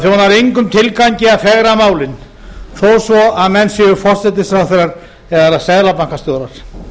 það þjónar engum tilgangi að fegra málin þó svo að menn séu forsætisráðherrar eða seðlabankastjórar